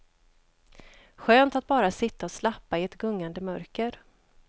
Skönt att bara sitta och slappa i ett gungande mörker.